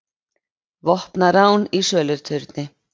Vopnað rán í söluturni